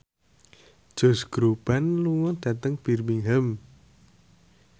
Josh Groban lunga dhateng Birmingham